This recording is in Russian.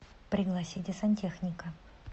пригласите сантехника